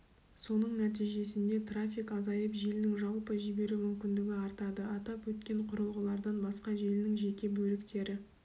соның нәтижесінде трафик азайып желінің жалпы жіберу мүмкіндігі артады атап өткен құрылғылардан басқа желінің жеке бөліктері